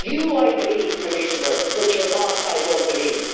You, I believe, Commissioner, but your boss I don't believe.